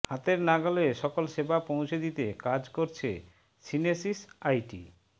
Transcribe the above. হাতের নাগালে সকল সেবা পৌঁছে দিতে কাজ করেছে সিনেসিস আইটি